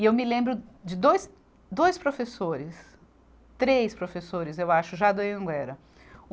E eu me lembro de dois, dois professores, três professores, eu acho, já da Anhanguera. Um